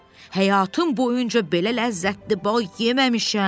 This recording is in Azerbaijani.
Həyatım boyunca belə ləzzətli bal yeməmişəm.